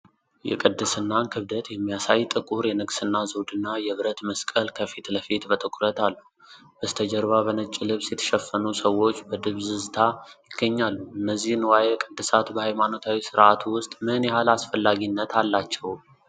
የቅድስናን ክብደት የሚያሳይ ጥቁር የንግስና ዘውድና የብረት መስቀል ከፊት ለፊት በትኩረት አሉ፤ በስተጀርባ በነጭ ልብስ የተሸፈኑ ሰዎች በድብዝዝታ ይገኛሉ። እነዚህ ንዋየ ቅድሳት በሃይማኖታዊ ሥርዓቱ ውስጥ ምን ያህል አስፈላጊነት አላቸው?